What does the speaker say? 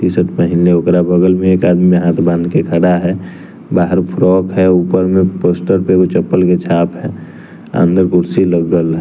T shirt पहिनले वोकरा बगल में एक आदमी हाथ बान के खड़ा है बाहर फ्रॉक है ऊपर में पोस्टर पे एगो चप्पल के छाप है अंदर कुर्सी लागल है।